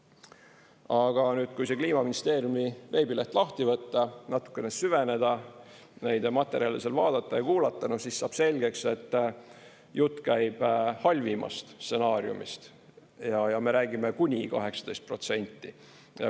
Aga nüüd, kui see Kliimaministeeriumi veebileht lahti võtta, natukene süveneda, neid materjale seal vaadata ja kuulata, siis saab selgeks, et jutt käib halvimast stsenaariumist ja me räägime kuni 18%.